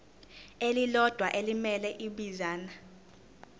elilodwa elimele ibinzana